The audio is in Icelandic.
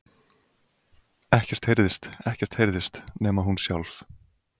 Ekkert heyrðist, ekkert hreyfðist, nema hún sjálf.